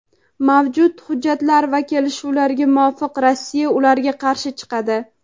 mavjud hujjatlar va kelishuvlarga muvofiq Rossiya ularga qarshi chiqadi.